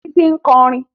Títí ń kọrin